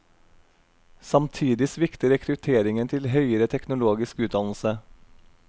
Samtidig svikter rekrutteringen til høyere teknologisk utdannelse.